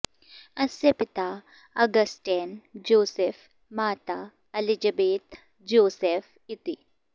अस्य पिता Augustine Joseph माता अलिजबेत् जोसेफ् इति